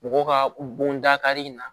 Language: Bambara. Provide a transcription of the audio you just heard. Mɔgɔw ka bon dakari in na